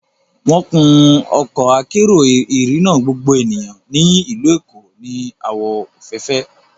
Wọ́n kun Ọkọ akérò ìrìnà gbogbo ènìyàn ní ìlú Èkó ní àwọ̀ òféèfé